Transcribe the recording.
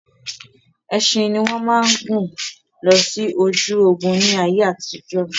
Ẹṣin ní wọ́n máa ń gùn lọ sí ojú ogún ni ayé àtijọ́.